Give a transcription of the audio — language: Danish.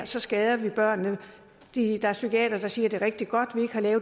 så skader det børnene der er psykiatere der siger at det er rigtig godt